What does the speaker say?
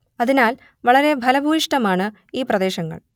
അതിനാൽ വളരെ ഫലഭൂയിഷ്ടമാണ് ഈ പ്രദേശങ്ങൾ